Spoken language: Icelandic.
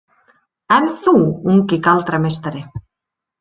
En þú, ungi galdrameistari?